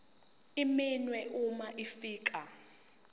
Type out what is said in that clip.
iminwe uma ufika